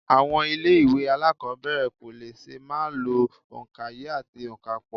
Àwọn ilé ìwé alákọ̀ọ́bẹ̀rẹ̀ kò lè ṣàì má lo òǹkaye àti ònkapò